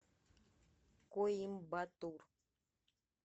коимбатур